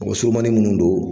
Mɔgɔ surumanni minnu don